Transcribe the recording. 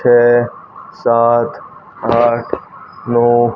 छे सात आठ नौ--